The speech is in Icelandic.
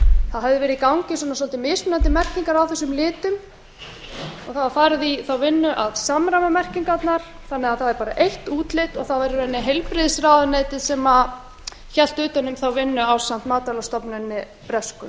það höfðu verið í gangi svolítið mismunandi merkingar á þessum litum og það var farið í þá vinnu að samræma merkingarnar þannig að það er bara eitt útlit og það var í raun og veru heilbrigðisráðuneytið sem hélt utan um þá vinnu ásamt matvælastofnuninni bresku